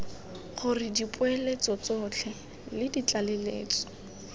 gore dipoeletso tsotlhe le ditlaleletso